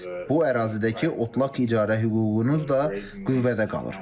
Bu ərazidəki otlaq icarə hüququnuz da qüvvədə qalır.